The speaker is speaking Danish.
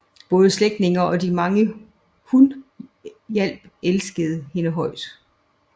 Både slægtninge og de mange hun hjalp elskede hende højt